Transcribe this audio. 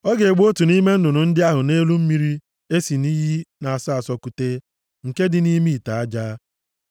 Ọ ga-egbu otu nʼime nnụnụ ndị ahụ nʼelu mmiri e si nʼiyi na-asọ asọ kute, nke dị nʼime ite aja.